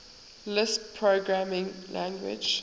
lisp programming language